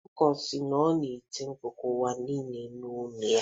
Ọkụkọ si, ọ na-eti mkpu ka ụwa nụrụ olu ya